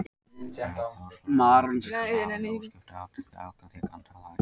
Herra Kláus var áhyggjufullur og hafði óskipta athygli allra þegar hann talaði.